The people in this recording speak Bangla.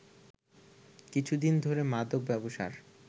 কিছুদিন ধরে মাদক ব্যবসার